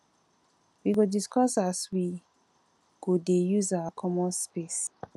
we go discuss as we go dey use our common space